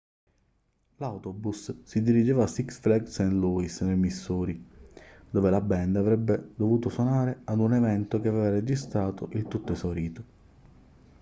l'autobus si dirigeva a six flags st. louis nel missouri dove la band avrebbe dovuto suonare ad un evento che aveva registrato il tutto esaurito